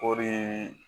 Kɔri